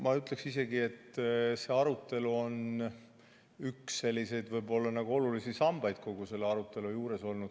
Ma ütleksin isegi, et see arutelu on olnud võib-olla isegi üks selliseid olulisi sambaid kogu selle arutelu juures.